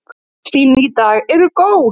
Öll sýni í dag eru góð.